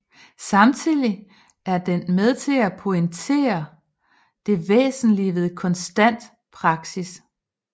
Samtidig er den med til at pointere det væsentlige ved konstant praksis